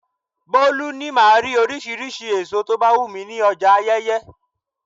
Bolu ní máa rí oríṣiríṣi èso tó bá wù mí ní ọjà Ayeye.